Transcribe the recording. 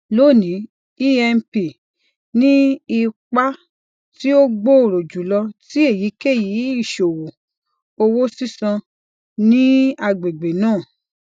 loni emp ni ipa ti o gbooro julọ ti eyikeyi iṣowo owo sisan ni agbegbe naa